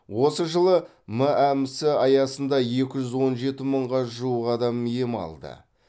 осы жылы мәмс аясында екі мың он жеті мыңға жуық адам ем алды